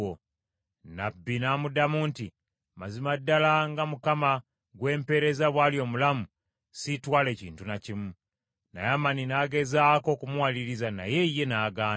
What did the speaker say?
Nnabbi n’amuddamu nti, “Mazima ddala, nga Mukama gwe mpeereza bw’ali omulamu, siitwale kintu na kimu.” Naamani n’agezaako okumuwaliriza, naye ye n’agaana.